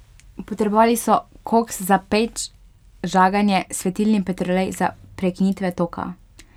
Potrebovali so koks za peč, žaganje, svetilni petrolej za prekinitve toka.